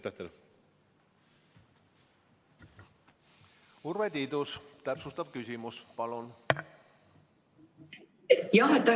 Urve Tiidus, täpsustav küsimus palun!